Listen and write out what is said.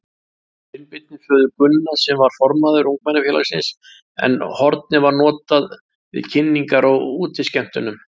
Sveinbirni, föður Gunna, sem var formaður ungmennafélagsins, en hornið var notað við kynningar á útiskemmtunum.